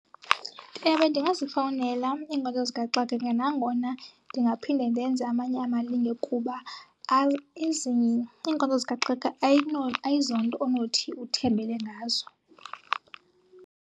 Ewe, ndingazifowunela iinkonzo zikaxakeka nangona ndingaphinde ndenze amanye amalinge kuba ezinye iinkonzo zikaxakeka ayizonto onothi uthembele ngazo.